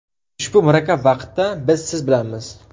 Ushbu murakkab vaqtda biz siz bilanmiz.